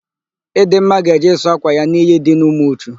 Ịdịmma ga-eje ịsụ ákwà ya n'iyi dị n'Umuchu.